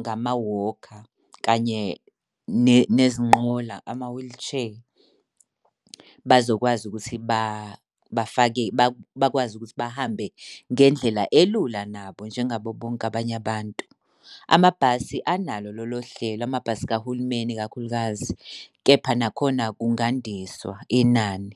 ngama-walker kanye nezinqola, ama-wheelchair, bazokwazi ukuthi bafake bakwazi ukuthi bahambe ngendlela elula nabo njengaba bonke abanye abantu. Amabhasi analo lolo hlelo, amabhasi kahulumeni, ikakhulukazi, kepha nakhona kungandiswa inani.